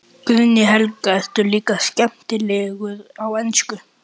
Guðný Helga: Ertu líka skemmtilegur á ensku?